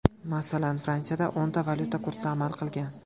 Masalan, -Fransiyada o‘nta valyuta kursi amal qilgan.